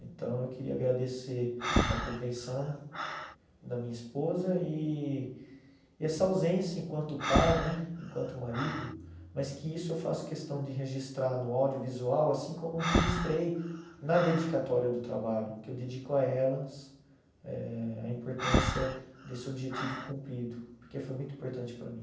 Então, eu queria agradecer a compreensão da minha esposa e e essa ausência enquanto pai né, enquanto marido, mas que isso eu faço questão de registrar no audiovisual, assim como registrei na dedicatória do trabalho, que eu dedico a elas eh a importância desse objetivo cumprido, porque foi muito importante para mim.